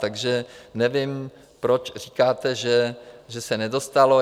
Takže nevím, proč říkáte, že se nedostalo.